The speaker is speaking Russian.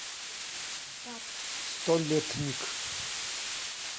столетник